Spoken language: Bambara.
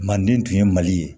Manden tun ye mali ye